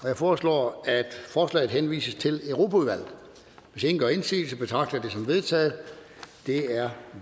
jeg foreslår at forslaget henvises til europaudvalget hvis ingen gør indsigelse betragter jeg som vedtaget det er